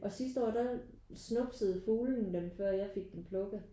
Og sidste år der snuppede fuglene dem før jeg fik dem plukket